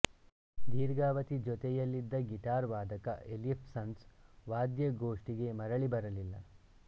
ದೀರ್ಘಾವಧಿ ಜೊತೆಯಲ್ಲಿದ್ದ ಗೀಟಾರ್ ವಾದಕ ಎಲ್ಲಿಫ್ಸನ್ ವಾದ್ಯಗೋಷ್ಠಿಗೆ ಮರಳಿ ಬರಲಿಲ್ಲ